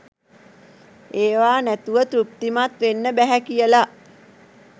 ඒවා නැතුව තෘප්තිමත් වෙන්න බැහැ කියලා